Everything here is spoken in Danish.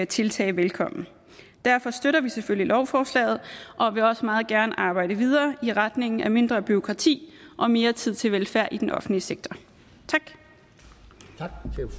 tiltag velkommen derfor støtter vi selvfølgelig lovforslaget og vil også meget gerne arbejde videre i retning af mindre bureaukrati og mere tid til velfærd i den offentlige sektor tak